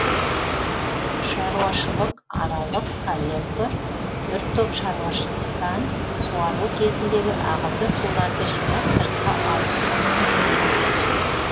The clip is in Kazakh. шаруашылықаралық коллектор бір топ шаруашылықтан суару кезіндегі ағынды суларды жинап сыртқа алып кететін жүйе